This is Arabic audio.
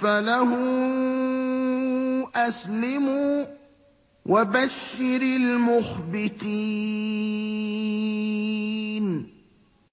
فَلَهُ أَسْلِمُوا ۗ وَبَشِّرِ الْمُخْبِتِينَ